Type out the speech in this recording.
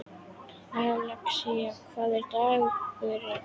Alexía, hvaða dagur er í dag?